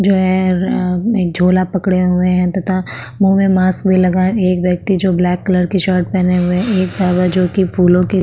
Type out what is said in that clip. जो है र-अ एक झोला पकड़े हुवे है तथा मुँह में मास्क भी लगा है एक व्यक्ति जो की ब्लैक कलर की शर्ट पेहने हुए है एक जो की फूलों की --